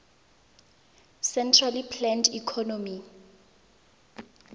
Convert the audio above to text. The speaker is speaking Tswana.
centrally planned economy